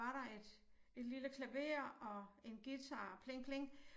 Var der et et lille klaver og en guitar pling pling